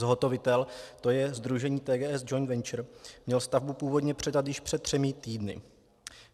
Zhotovitel, to je sdružení TGS Joint Venture, měl stavbu původně předat již před třemi týdny.